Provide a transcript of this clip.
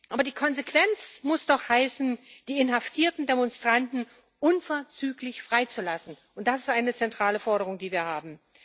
Aber die Konsequenz muss doch heißen, die inhaftierten Demonstranten unverzüglich freizulassen, und das ist eine zentrale Forderung, die wir haben.